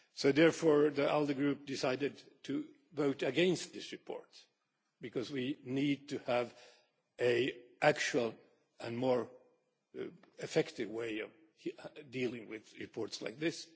Therefore, the ALDE Group decided to vote against this report, because we need to have an actual and more effective way of dealing with reports like this.